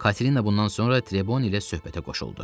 Katina bundan sonra Treboni ilə söhbətə qoşuldu.